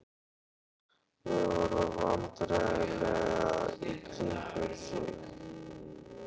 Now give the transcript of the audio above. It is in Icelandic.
Þau horfa vandræðalega í kringum sig.